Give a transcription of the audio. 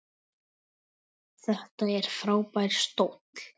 Þetta er frábær stóll.